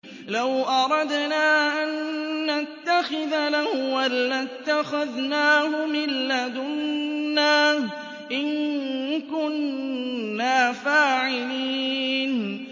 لَوْ أَرَدْنَا أَن نَّتَّخِذَ لَهْوًا لَّاتَّخَذْنَاهُ مِن لَّدُنَّا إِن كُنَّا فَاعِلِينَ